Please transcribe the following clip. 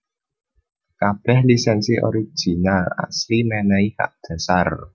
Kabèh lisènsi original asli mènèhi hak dhasar